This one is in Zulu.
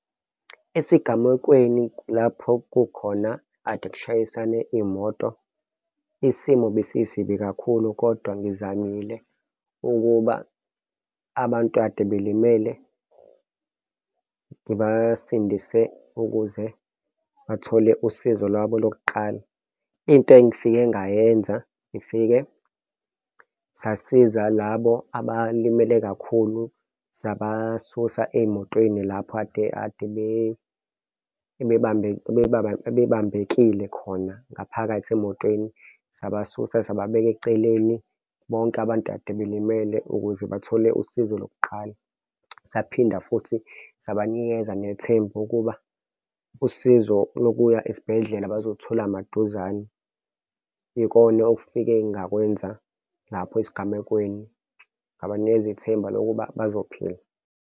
Esigamekweni lapho kukhona akade kushayisane imoto, isimo besisibi kakhulu, kodwa ngizamile ukuba abantu ade belimele, ngibasindise ukuze bathole usizo lwabo lokuqala. Into engifike ngayenza ngifike sasiza labo abalimele kakhulu, sabasusa ey'motweni lapho kade ade bebambekile khona ngaphakathi emotweni sabasusa sababeka eceleni. Bonke abantu ade belimele ukuze bathole usizo lokuqala. Saphinda futhi sabanikeza nethemba ukuba usizo lokuya esibhedlela baluzothola maduzane ikone okufike ngakwenza lapho esigamekweni ngabanikeza ithemba lokuba bezophila.